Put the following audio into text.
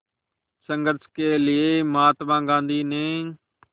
संघर्ष के लिए महात्मा गांधी ने